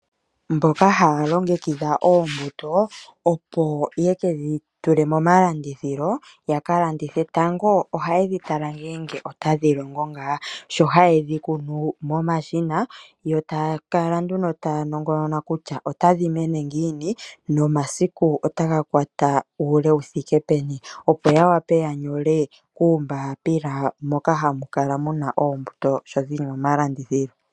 Mboka haya longekidha oombuto opo yekedhi tule moma landithilo yaka landithe. Tango oha yedhi tala ngele otadhi longo ngaa sho haye dhi kunu momashina yo taa kala nduno taa nongonona kutya otadhi mene ngiini nomasiku otaga kwata uule wu thike peni opo ya wape ya nyole uumbapila moka hamu kala muna oombuto sho dhili moma landithilo.